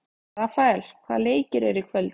Rafael, hvaða leikir eru í kvöld?